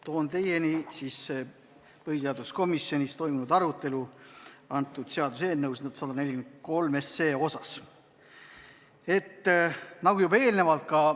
Toon teieni põhiseaduskomisjonis toimunud arutelu seaduseelnõu 143 üle.